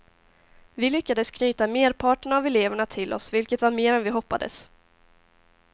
Vi lyckades knyta merparten av eleverna till oss vilket var mer än vi hoppades.